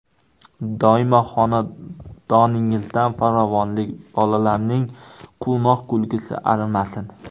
Doimo xonadoningizdan farovonlik, bolalarning quvnoq kulgusi arimasin.